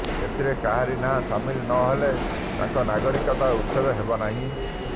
ଏଥିରେ କାହାରି ନାଁ ସାମିଲ ନ ହେଲେ ତାଙ୍କର ନାଗରିକତା ଉଚ୍ଛେଦ ହେବନାହିଁ